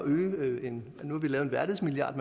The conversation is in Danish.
men